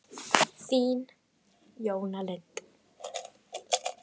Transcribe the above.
Þín, Jóna Lind.